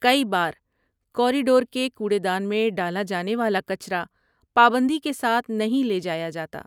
کئی بار، کوریڈور کے کوڑے دان میں ڈالا جانے والا کچرا پابندی کے ساتھ نہیں لے جایا جاتا۔